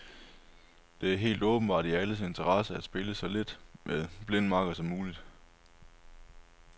Det er helt åbenbart i alles interesse at spille så lidt med blind makker som muligt.